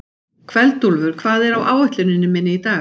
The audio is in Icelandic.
Kveldúlfur, hvað er á áætluninni minni í dag?